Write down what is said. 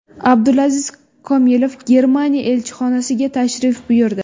Abdulaziz Komilov Germaniya elchixonasiga tashrif buyurdi.